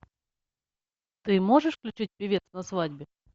ты можешь включить певец на свадьбе